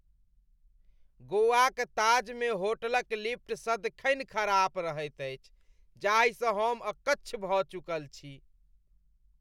गोवाक ताजमे होटलक लिफ्ट सदिखन खराब रहैत अछि, जाहिसँ हम अक्च्छ भऽ चुकल छी।